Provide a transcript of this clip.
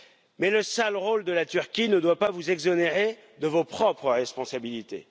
Mais le sale rôle de la Turquie ne doit pas vous exonérer de vos propres responsabilités.